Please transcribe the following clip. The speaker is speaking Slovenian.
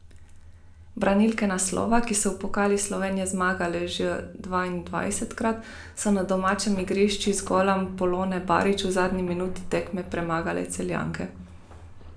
Branilke naslova, ki so v pokalu Slovenije zmagale že dvaindvajsetkrat, so na domačem igrišču z golom Polone Barič v zadnji minuti tekme premagale Celjanke.